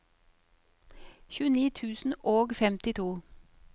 tjueni tusen og femtito